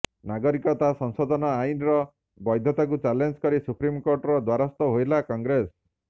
ନାଗରିକତା ସଂଶୋଧନ ଆଇନ୍ର ବୈଧତାକୁ ଚ୍ୟାଲେଞ୍ଜ କରି ସୁପ୍ରିମ୍ କୋର୍ଟଙ୍କ ଦ୍ୱାରସ୍ଥ ହେଲା କଂଗ୍ରେସ